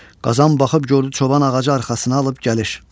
Qazan baxıb gördü çoban ağacı arxasına alıb gəlir.